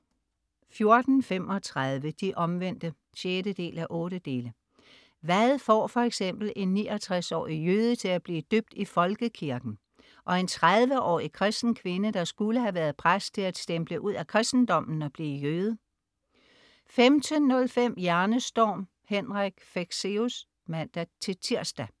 14.35 De Omvendte 6:8. Hvad får f.eks. en 69-årig jøde til at blive døbt i folkekirken? Og en 30-årig kristen kvinde, der skulle have været præst, til at stemple ud af kristendommen og blive jøde? 15.05 Hjernestorm. Henrik Fexeus (man-tirs)